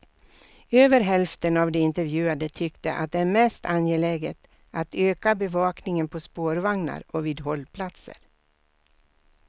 Över hälften av de intervjuade tyckte att det är mest angeläget att öka bevakningen på spårvagnar och vid hållplatser.